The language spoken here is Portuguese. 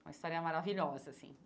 Uma história maravilhosa, assim.